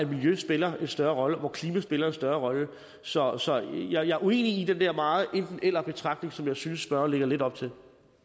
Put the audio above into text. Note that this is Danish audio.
miljø spiller en større rolle og hvor klima spiller en større rolle så så jeg er uenig i den der meget enten eller betragtning som jeg synes spørgeren lægger lidt op til